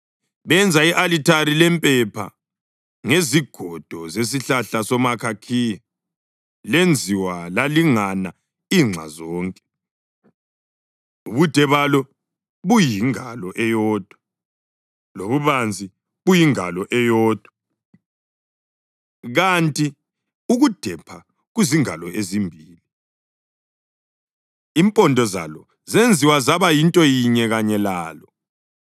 Benza i-alithari lempepha ngezigodo zesihlahla somʼakhakhiya. Lenziwa lalingana inxa zonke, ubude balo buyingalo eyodwa, lobubanzi buyingalo eyodwa, kanti ukudepha kuzingalo ezimbili, impondo zalo zenziwa zaba yinto yinye kanye lalo.